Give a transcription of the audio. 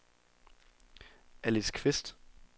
Alice Qvist